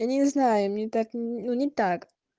я не знаю мне так ну не так